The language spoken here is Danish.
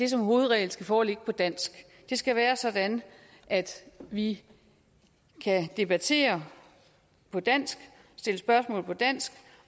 som hovedregel skal foreligge på dansk det skal være sådan at vi kan debattere på dansk stille spørgsmål på dansk